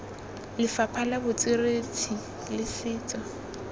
lefapha la botsweretshi le setso